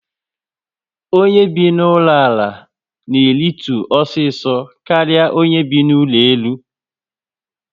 Onye bi na ụlọ ala na eritu osiso karịa onye bi na ụlọ elu